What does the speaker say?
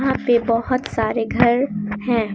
यहां पे बहोत सारे घर हैं।